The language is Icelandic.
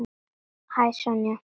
Hæ, Sonja.